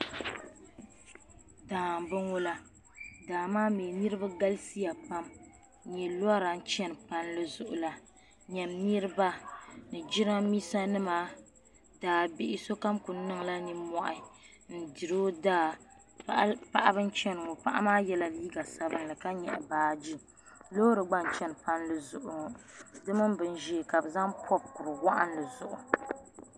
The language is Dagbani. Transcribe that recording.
Daa n bɔŋɔ la daa maa mi niribi galisiya pam n nyɛ lɔra n chani palli zuɣula, nyɛm niriba ni jiranbisa nima daabihi sokam kuli niŋla nin mohi n diri ɔdaa paɣaba n chani ŋɔ paɣi maa yela liiga sabinli ka nyɛɣi baaji lɔɔri gba n chani palli zuɣu ŋɔ di mini bɛn ʒɛɛ kabi zaŋ pɔbi kuriwaɣili zuɣu